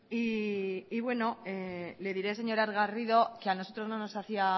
y bueno le diré señora garrido que a nosotros no nos hacía